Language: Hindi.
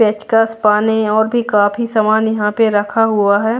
पेचकस पाने और भी काफी सामान यहां पर रखा हुआ है।